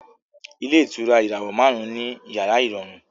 Ilé ìtura ìràwọ̀ márùn-ún ní yàrá ìrọ̀rùn